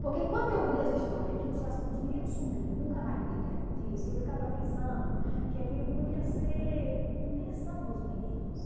Porque enquanto eu ouvia as histórias que os meninos sumiam e nunca mais ninguém tinha notícia, eu ficava pensando que aquilo podia ser invenção dos meninos.